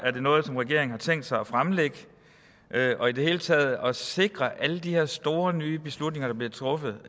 er noget regeringen har tænkt sig at fremlægge og i det hele taget sig at sikre at alle de her store nye beslutninger der bliver truffet